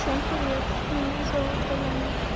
всем приветик меня зовут алёна